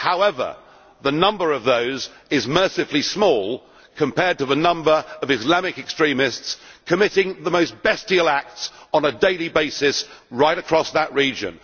However, the number of those is mercifully small compared to the number of Islamic extremists committing the most bestial acts on a daily basis right across that region.